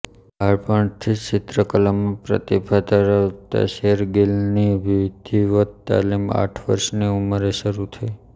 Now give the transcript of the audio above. બાળપણથી જ ચિત્રકલામાં પ્રતિભા ધરાવતા શેરગિલની વિધિવત તાલીમ આઠ વર્ષની ઉંમરે શરૂ થઈ